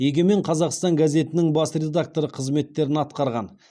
егемен қазақстан газетінің бас редакторы қызметтерін атқарған